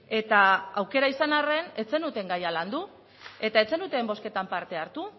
eta aukera izan arren ez zenuten gaia landu eta ez zenuten bozketan parte hartu